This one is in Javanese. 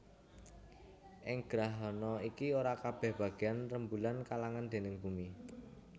Ing grahana iki ora kabèh bagéyan rembulan kaalangan déning bumi